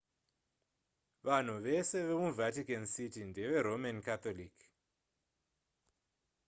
vanhu vese vemuvatican city ndeveroman catholic